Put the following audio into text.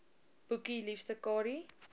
boekie liefste kadie